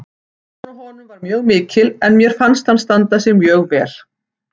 Pressan á honum var mjög mikil en mér fannst hann standa sig mjög vel